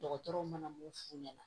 Dɔgɔtɔrɔw mana mun f'u ɲɛna